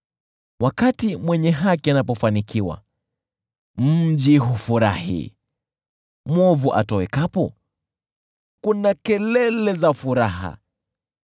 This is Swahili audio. Wakati mwenye haki anapofanikiwa, mji hufurahi; mwovu atowekapo, kuna kelele za furaha.